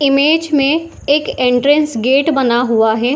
Image में एक entrance gate बना हुआ है।